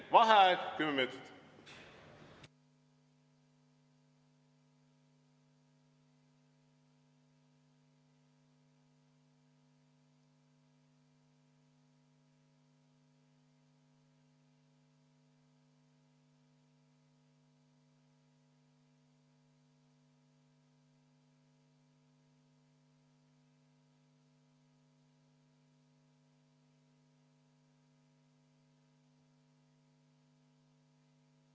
Vaheaeg 10 minutit.